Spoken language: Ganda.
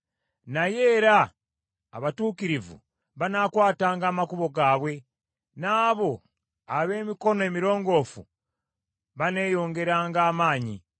Naye era abatuukirivu banaakwatanga amakubo gaabwe, n’abo ab’emikono emirongoofu baneeyongeranga amaanyi.